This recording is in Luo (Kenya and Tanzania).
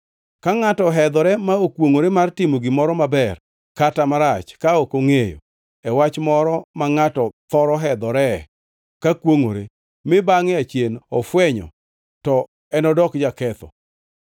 Ka ngʼato ohedhore ma okwongʼore mar timo gimoro, maber kata marach ka ok ongʼeyo, (e wach moro ma ngʼato thoro hedhore ka kwongʼore) mi bangʼe achien ofwenyo, to enodok jaketho.